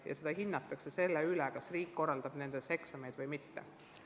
Ja seda hinnatakse selle järgi, kas riik korraldab nendes ainetes eksameid või mitte.